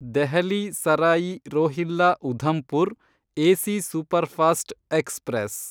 Delhi Sarai Rohilla Udhampur AC superfast express